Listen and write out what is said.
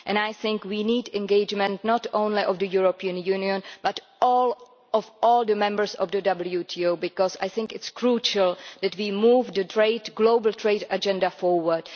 I think we need the engagement not only of the European Union but of all the members of the WTO, because it is crucial that we move the global trade agenda forward.